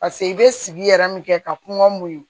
Paseke i bɛ sigi yɛrɛ min kɛ ka kɔn muɲun